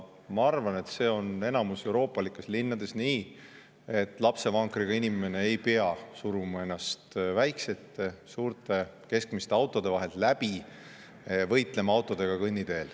Ma arvan, et see on enamikus euroopalikes linnades nii, et lapsevankriga inimene ei pea suruma ennast väikeste, suurte, keskmiste autode vahelt läbi, võitlema autodega kõnniteel.